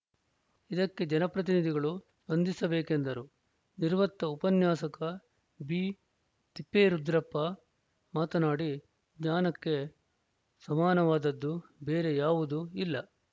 ಇದಕ್ಕೆ ಜನಪ್ರತಿನಿಧಿಗಳು ಸ್ಪಂದಿಸಬೇಕೆಂದರು ನಿವೃತ್ತ ಉಪನ್ಯಾಸಕ ಬಿತಿಪ್ಪೇರುದ್ರಪ್ಪ ಮಾತನಾಡಿ ಜ್ಞಾನಕ್ಕೆ ಸಮಾನವಾದದ್ದು ಬೇರೆ ಯಾವುದೂ ಇಲ್ಲ